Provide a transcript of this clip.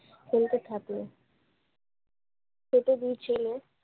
ফেলতে থাকল। খেতে দিয়েছিল।